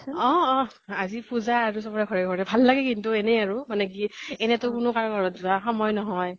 অ অ অ । আজি পুজা আৰু চবৰে ঘৰে ঘৰে, ভাল লাগে কিন্তু । মানে এনেই আৰু মানে কি এনেই তো কোনো কাৰো ঘৰ ত যোৱা সময় নহয়